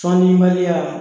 Cɔn ni baliya.